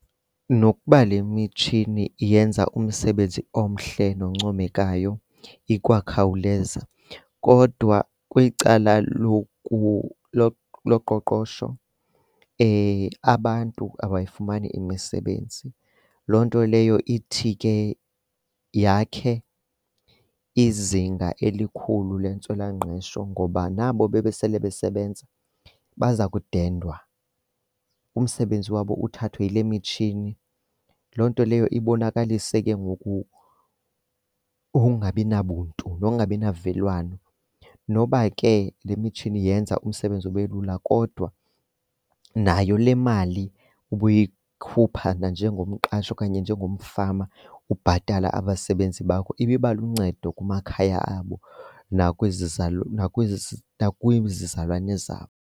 Nokuba le mitshini yenza umsebenzi omhle noncomekayo ikwakhawuleza, kodwa kwicala loqoqosho abantu abayifumani imisebenzi. Loo nto leyo ithi ke yakhe izinga elikhulu lentswelangqesho ngoba nabo babe besele besebenza baza kudendwa, umsebenzi wabo uthathwe yile mitshini. Loo nto leyo ibonakalise ke ngoku ukungabi nabuntu nokungabi navelwano. Noba ke le mitshini yenza umsebenzi ube lula kodwa nayo le mali ubuyikhupha nanjengomqashi okanye njengomfama ubhatala abasebenzi bakho, ibibaluncedo kumakhaya abo nakwizizalwane zabo.